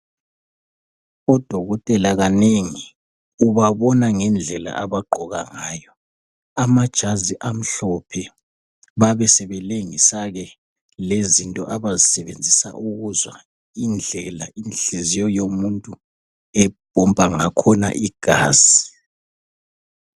Odokotela kanengi ubabona ngendlela abaqoka ngayo amajazi amhlophe babe sebelengisa ke lezinto abazisebenzisa ukuzwa indlela inhliziyo yomuntu epompa ngakhona igazi.